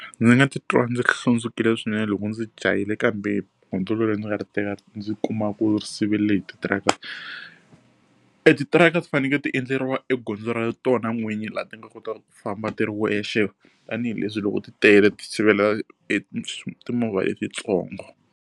Ndzi nga ti twa ndzi hlundzukile swinene loko ndzi jahile kambe gondzo leri ni nga ri teka ndzi kuma ku ri siverile hi titiraka. Etitiraka ti fanekele ti endleriwa egondzo ra tona n'winyi laha ti nga kotaka ku famba ti ri wexe tanihileswi loko ti tele ti sivela etimovha letintsongo.